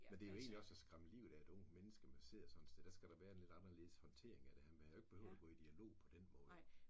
Men det jo egentlig også at skræmme livet af et ung menneske man sidder sådan et sted der skal der være en lidt anderledes håndtering af det man havde jo ikke behøvet at gå i dialog på den måde